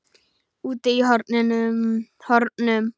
Úti í hornum.